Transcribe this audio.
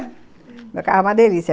Meu carro é uma delícia.